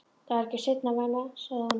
Það er ekki seinna vænna, sagði hún.